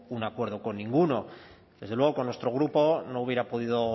un acuerdo con ninguno desde luego con nuestro grupo no hubiera podido